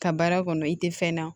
Ka baara kɔnɔ i tɛ fɛn na